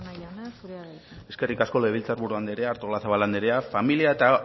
estarrona jauna zurea da hitza eskerrik asko legebiltzar buru andrea artolazabal andrea familia eta